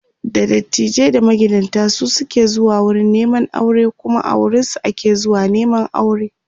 da dattijai da magidanta su suke zuwa wurin Neman aure Kuma a wurinsu ake zuwa Neman aure